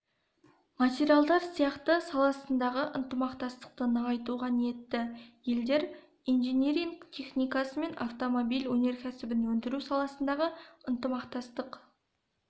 материалдар сияқты салаларындағы ынтымақтастықты нығайтуға ниетті елдер инжиниринг техникасы мен автомобиль өнеркәсібін өндіру саласындағы ынтымақтастық